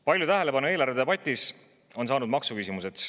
Palju tähelepanu on eelarvedebatis saanud maksuküsimused.